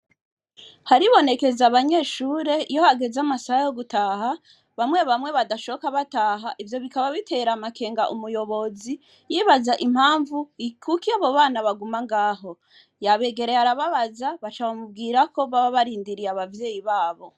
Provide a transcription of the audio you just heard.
Haribonekeza abanyeshure iyo hageze amasaha yo gutaha, bamwe bamwe badashoka bataha ivyo bikaba bitera amakenga umuyobozi, yibaza impamvu kuki abo bana baguma ngaho. Yabegereye arababaza baca bamubwira ko baba barindiriye abavyeyi babo.